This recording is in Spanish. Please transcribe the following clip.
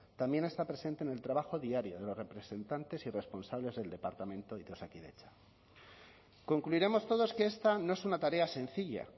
también está presente en el trabajo diario de los representantes y responsables del departamento y de osakidetza concluiremos todos que esta no es una tarea sencilla